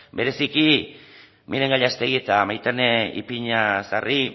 bereziki miren gallástegui eta maitane ipiñazarri